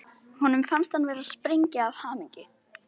Honum fannst hann vera að springa af hamingju.